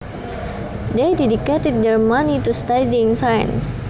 They dedicated their money to studying science